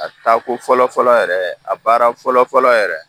A taa ko fɔlɔ fɔlɔ yɛrɛ a baara fɔlɔ fɔlɔ yɛrɛ